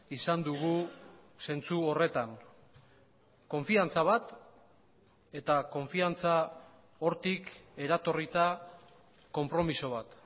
izan dugu zentzu horretan konfiantza bat eta konfiantza hortik eratorrita konpromiso bat